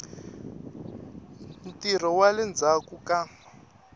ntirho wa le ndzhaku ka